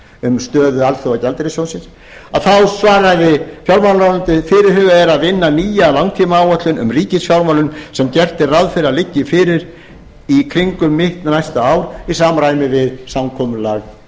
um stöðu alþjóðagjaldeyrissjóðsins svaraði fjármálaráðunetyið fyrirhugað er að vinna nýja langtímaáætlun um ríkisfjármálin sem gert er ráð fyrir að liggi fyrir í kringum mitt næsta ár í samræmi við samkomulag